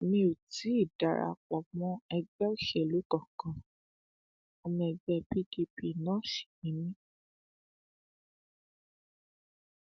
mi ò tí ì dara pọ mọ ẹgbẹ òṣèlú kankan ọmọ ẹgbẹ pdp náà sì ni mí